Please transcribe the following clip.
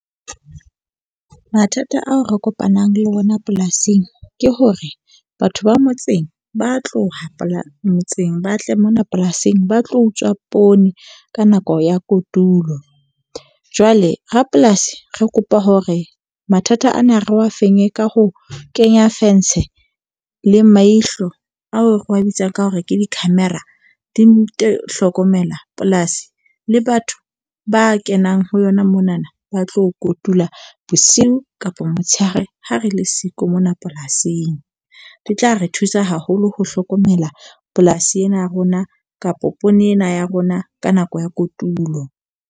Mathata ao re kopanang le ona polasing ke hore batho ba motseng, ba tloha motseng, ba tle mona polasing ba tlo utswa poone ka nako ya kotulo. Jwale rapolasi re kopa hore mathata ana re wa fenye ka ho kenya fence le maihlo ao re wa bitsang ka hore ke di-camera di ntho hlokomela polasi le batho ba kenang ho yona monana ba tlo kotula bosiu kapa motshehare ha re le siko mona polasing. Di tla re thusa haholo ho hlokomela polasi ena ya rona kapa poone ena ya rona ka nako ya kotulo.